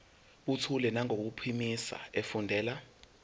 buthule nangokuphimisa efundela